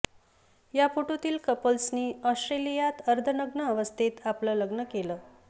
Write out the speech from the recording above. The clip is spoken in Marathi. या फोटोतील कपल्सनी ऑस्टोलियात अर्धनग्न अवस्थेत आपलं लग्न केलं